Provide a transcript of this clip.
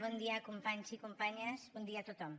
bon dia companys i companyes bon dia a tothom